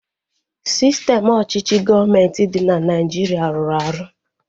Sistem ọchịchị gọọmenti dị na Nigeria rụrụ arụ